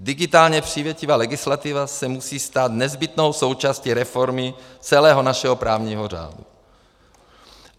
Digitálně přívětivá legislativa se musí stát nezbytnou součástí reformy celého našeho právního řádu.